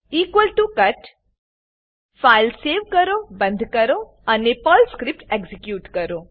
equal to cut file save કરો બંદ કરો અને પર્લ સ્ક્રીપ્ટ એક્ઝીક્યુટ કરો